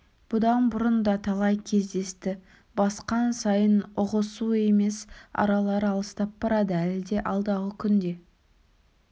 бұдан бұрын да талай кездесті басқан сайын ұғысу емес аралары алыстап барады әлі де алдағы күнде